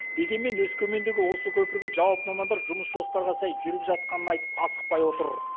дегенмен өскемендегі осы көпірге жауапты мамандар жұмыс жоспарға сай жүріп жатқанын айтып асықпай отыр